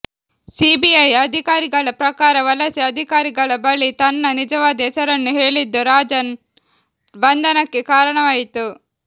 CBI ಅಧಿಕಾರಿಗಳ ಪ್ರಕಾರ ವಲಸೆ ಅಧಿಕಾರಿಗಳ ಬಳಿ ತನ್ನ ನಿಜವಾದ ಹೆಸರನ್ನು ಹೇಳಿದ್ದು ರಾಜನ್ ಬಂಧನಕ್ಕೆ ಕಾರಣವಾಯಿತು